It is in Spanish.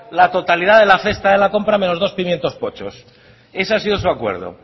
la totalidad de la cesta de la compra menos dos pimientos pochos eso ha sido su acuerdo